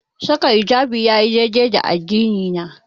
Saka hijabi yayi dai-dai da addini na.